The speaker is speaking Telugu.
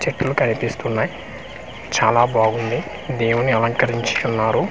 చెట్లు కనిపిస్తున్నాయి చాలా బాగుంది దేవుని అలంకరించి ఉన్నారు .